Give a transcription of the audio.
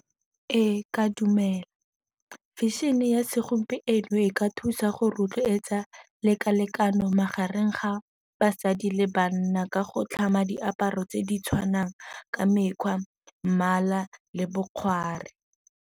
Ee, ke a dumela. Fashion-e ya segompieno e ka thusa go rotloetsa teka-tekano magareng ga basadi le banna ka go tlhama diaparo tse di tshwanang ka mekgwa, mmala le bokgware.